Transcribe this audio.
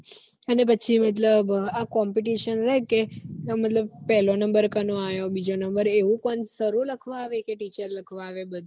અને પછી મતલબ આ competition એટલે મતલબ પેહલો number કનો આયો બીજો number એવું કોણ sir ઓ લખવા આવે કે teacher લખવા આવે